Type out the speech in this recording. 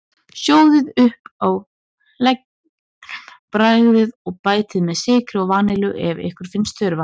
Sjóðið upp á leginum, bragðið, og bætið við sykri og vanillu ef ykkur finnst þurfa.